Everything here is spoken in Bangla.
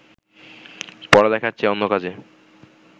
পড়ালেখার চেয়ে অন্য কাজে